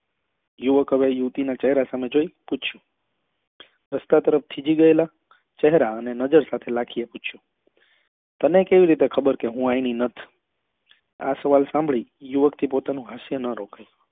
યુવક હવે યુવતી ના ચહેરા સામે જોઈ અને પૂછ્યું રસ્તા પર જ થીજી ગયેલા ચહેરા અને નજર સાથે લાખી અપેક્ષા તને કેવી રીતે ખબર કે હું એની નથ આ સવાલ સાંભળી યુવક થી પોતાનું હાસ્ય નાં રોકાયું